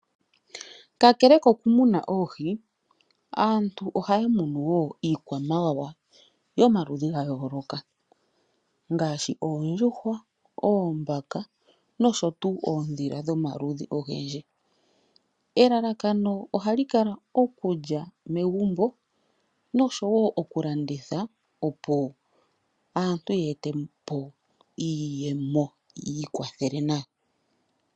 Kakele kokumuna oohi, aantu oya munowo iikwamawawa yomaludhi gayoloka, ngashi oondjuhwa, oombaka noshotuwu oodhila dhomaludhi ogendji. Elalakano ohali kala okulya megumbo noshowo okulanditha opo aantu yetepo iiyemo, yikwathele nayo.